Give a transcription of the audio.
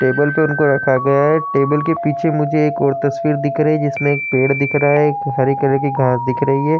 Table पे उनको रखा गया है। टेबल के पीछे मुझे एक और तस्वीर दिख रही है जिसमे एक पेड़ दिख रहा है। एक हरे कलर की घांस दिख रही है।